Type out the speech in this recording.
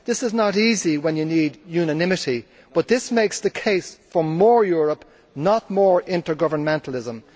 This is not easy when you need unanimity, but this makes the case for more Europe, not more intergovernmentalism.